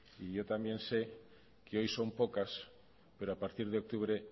y yo también sé que hoy son pocas pero a partir de octubre